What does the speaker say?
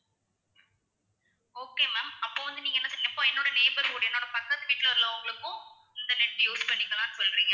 okay ma'am அப்போ வந்து நீங்க என்ன செய்ய இப்போ என்னோட neighbour வீடு என்னோட பக்கத்து வீட்டுல உள்ளவங்களுக்கும் இந்த net use பண்ணிக்கலாம்ன்னு சொல்றீங்க,